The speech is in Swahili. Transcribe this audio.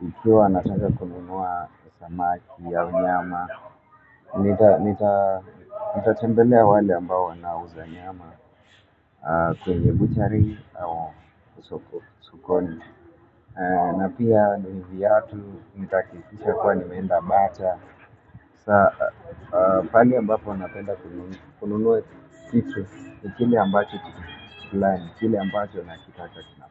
Mpya wanatanga kununua samaki au nyama. Nitatembelea wale ambao wanauza nyama kwenye butchery sokoni. Na pia ni viatu, nitakitisha kwa ni meenda bata. Pale ambapo napenda kununua kitu kile ambacho kukulani, kile ambacho nakitaka kinapati.